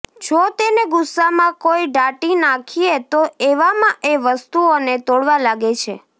જો તેને ગુસ્સામાં કોઈ ડાંટી નાખીએ તો એવામાં એ વસ્તુઓને તોડવા લાગે છે